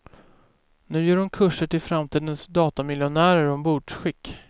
Nu ger hon kurser till framtidens datamiljonärer om bordskick.